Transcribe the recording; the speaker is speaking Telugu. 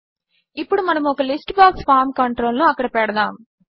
ఇప్పుడు మనము ఒక లిస్ట్ బాక్స్ ఫార్మ్ కంట్రోల్ ను అక్కడ పెడతాము